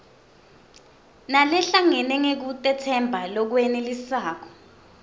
nalehlangene ngekutetsemba lokwenelisako